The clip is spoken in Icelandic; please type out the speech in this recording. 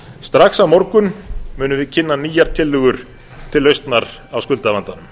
strax á morgun munum við kynna nýjar tillögur til lausnar á skuldavandanum